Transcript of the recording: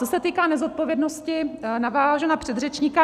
Co se týká nezodpovědnosti, navážu na předřečníka.